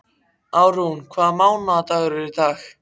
Árún, hvaða mánaðardagur er í dag?